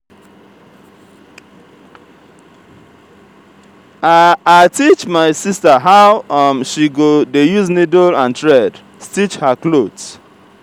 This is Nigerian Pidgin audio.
i teach my sista how um she go dey use niddle and thread stitch her clothe.